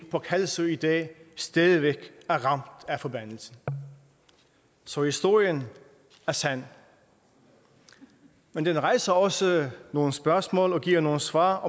på kalsoy i dag stadig væk er ramt af forbandelsen så historien er sand men den rejser også nogle spørgsmål og giver nogle svar